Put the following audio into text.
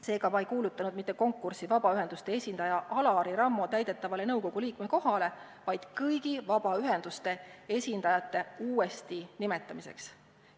Seega, ma ei kuulutanud välja konkurssi mitte vabaühenduste esindaja Alari Rammo täidetavale nõukogu liikme kohale, vaid kõigi vabaühenduste esindajate uuesti nimetamiseks.